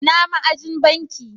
Ina ma'ajin banki?